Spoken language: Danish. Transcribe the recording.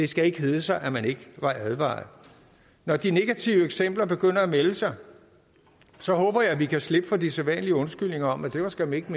skal hedde sig at man ikke var advaret når de negative eksempler begynder at melde sig sig håber jeg at vi kan slippe for de sædvanlige undskyldninger om at det skam ikke